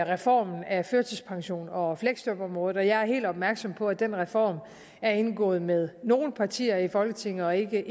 reformen af førtidspensionen og fleksjobområdet og jeg er helt opmærksom på at den reform er indgået med nogle partier i folketinget og ikke